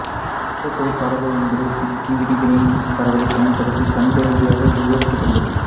மூலக்கூறு பரவல் என்பது பிக்கி விதிகளின் பரவலைப் பயன்படுத்தி கணித ரீதியாக விவரிக்கப்படுகிறது